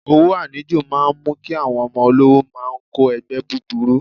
Owó àníjù máa ń mú kí àwọn ọmọ olówó máa kó ẹgbẹ́ búburú.